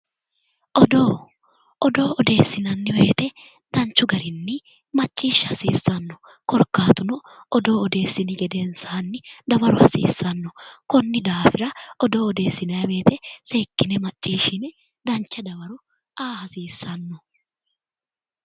Odoo, odoo odeessinanni woyite macciishsha hasiissanno. Korkaatuno odoo odeessini gedensaanni dawaro hasiissanno. Konnira odoo odeessinanni woyite seekkine macciishshine dancha dawaro aa hasiissanno.